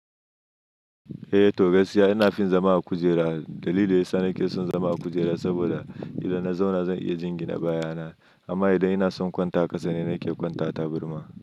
Eh to gaskiya ina fin zama a kujera. Dalili yasa nake son zama a kujera saboda idan na zauna zan iya jingina baya na. Amma idan ina son kwanta ƙasa ne nake kwanta tabarma.